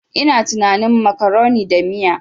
Ina tunanin macaroni da miya.